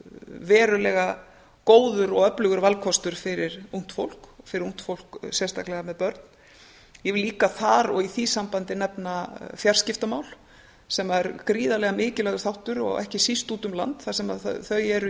verulega góður og öflugur valkostur fyrir ungt fólk sérstaklega með börn ég vil líka þar og í því sambandi nefna fjarskiptamál sem að er gríðarlega mikilvægur þáttur ekki síst út um land þar sem þau eru í